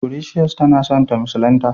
precious ta na son ta musulinta.